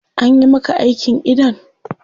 Anyi maka aikin idon?